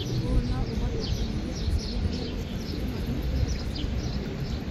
ũũ no ũhote kũnyihia ũciarithania na kũhutia marĩa matũrigicĩirie.